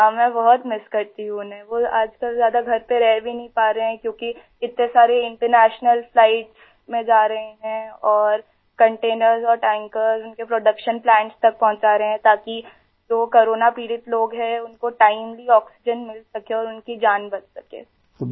हाँ मैं बहुत मिस करती हूँ उन्हें आई वो आजकल ज़्यादा घर पे रह भी नहीं पा रहे हैं क्योंकि इतने सारे इंटरनेशनल फ्लाइट्स में जा रहे हैं और कंटेनर्स और टैंकर्स उनके प्रोडक्शन प्लांट्स तक पहुंचा रहे हैं ताकि जो कोरोना पीड़ित लोग हैं उनको टाइमली आक्सीजेन मिल सके और उनकी जान बच सके आई